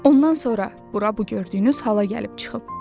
Ondan sonra bura bu gördüyünüz hala gəlib çıxıb.